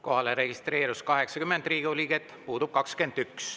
Kohale registreerus 80 Riigikogu liiget, puudub 21.